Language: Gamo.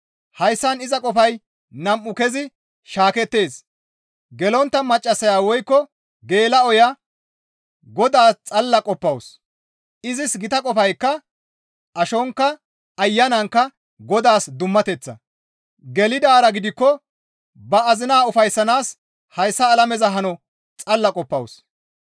Hayssan iza qofay nam7u kezi shaakettees; gelontta maccassaya woykko geela7oya Godaaz xalla qoppawus; izis gita qofaykka ashonkka, ayanankka Godaas dummateththa; gelidaara gidikko ba azinaa ufayssanaas hayssa alameza hano xalla qoppawus.